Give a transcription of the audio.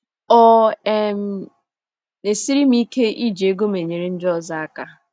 Ọ um ̀ na - esiri m ike iji ego m enyere ndị ọzọ aka?